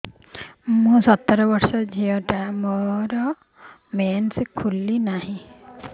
ମୁ ସତର ବର୍ଷର ଝିଅ ଟା ମୋର ମେନ୍ସେସ ଖୁଲି ନାହିଁ